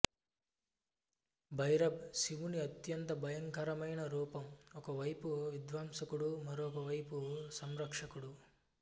భైరబ్ శివుని అత్యంత భయంకరమైన రూపం ఒక వైపు విధ్వంసకుడు మరోవైపు సంరక్షకుడు